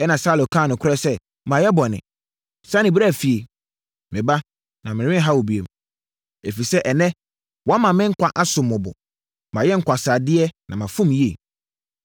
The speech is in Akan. Ɛnna Saulo kaa nokorɛ sɛ, “Mayɛ bɔne. Sane bra fie, me ba na merenha wo bio, ɛfiri sɛ ɛnnɛ, woama me nkwa asom wo bo. Mayɛ nkwaseadeɛ na mafom yie.”